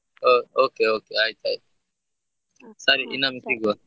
O~ okay okay ಆಯ್ತಾಯ್ತು .